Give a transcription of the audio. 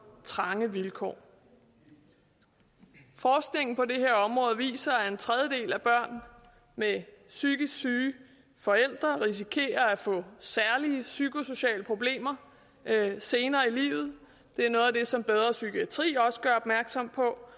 trange vilkår forskningen på det her område viser at en tredjedel af børn med psykisk syge forældre risikerer at få særlige psykosociale problemer senere i livet det er noget af det som bedre psykiatri også gør opmærksom på